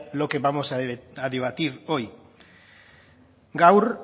lo que vamos a debatir hoy gaur